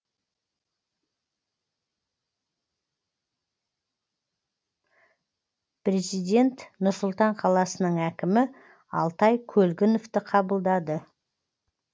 президент нұр сұлтан қаласының әкімі алтай көлгіновті қабылдады